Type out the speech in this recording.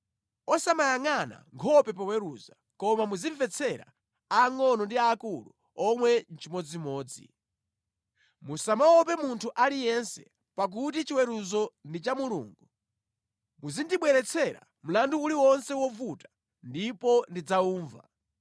Osamayangʼana nkhope poweruza koma muzimvetsera aangʼono ndi aakulu omwe chimodzimodzi. Musamaope munthu aliyense, pakuti chiweruzo ndi cha Mulungu. Muzindibweretsera mlandu uliwonse wovuta ndipo ndidzaumva.”